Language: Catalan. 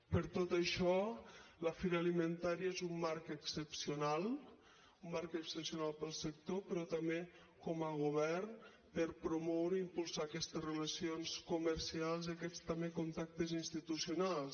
per tot això la fira alimentaria és un marc excepcional un marc excepcional per al sector però també com a govern per promoure i impulsar aquestes relacions comercials i aquests també contactes institucionals